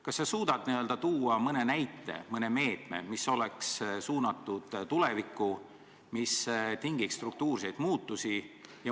Kas sa suudad tuua mõne näite, öelda mõne meetme, mis oleks suunatud tulevikku, mis tingiks struktuurseid muudatusi?